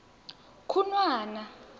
khunwana